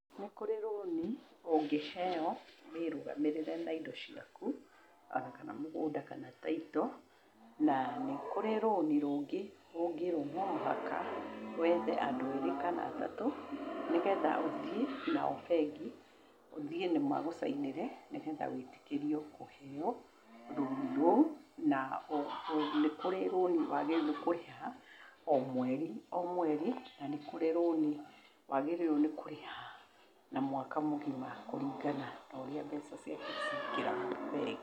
Nĩ kũrĩ rũni ũngĩheo wĩĩrũgamĩrĩre na indo ciaku o na kana mũgũnda kana taitũ. Na nĩ kũrĩ rũni rũngĩ ũngĩirwo na mũhaka wethe andũ erĩ kana atatũ, nĩgetha ũthiĩ nao bengi, ũthiĩ magũcainĩre nĩgetha wĩtĩkĩrio kũheo rũni rũu. Na o ho nĩ kũrĩ rũni waagĩrĩirwo nĩ kũrĩha o mweri o mweri, na nĩ kũrĩ rũni waagĩrĩirwo nĩ kũrĩha na mwaka mũgima kũringana na ũrĩa mbeca ciaku cingĩraga bengi.